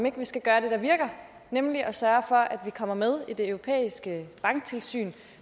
ikke skal gøre det der virker nemlig at sørge for at vi kommer med i det europæiske banktilsyn